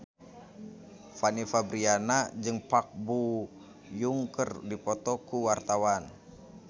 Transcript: Fanny Fabriana jeung Park Bo Yung keur dipoto ku wartawan